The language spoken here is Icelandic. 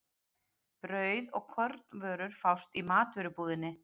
Brauð og kornvörur fást í matvörubúðinni.